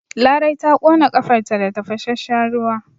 Larai ta ƙons ƙafarta da tafasasshen ruwa.